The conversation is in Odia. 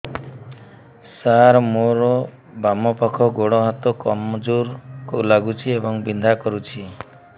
ସାର ମୋର ବାମ ପାଖ ଗୋଡ ହାତ କମଜୁର ଲାଗୁଛି ଏବଂ ବିନ୍ଧା କରୁଛି